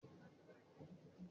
WhatsApp dára fún ìbásọ̀rọ̀ tó yá.